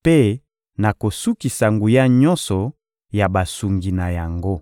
mpe nakosukisa nguya nyonso ya basungi na yango.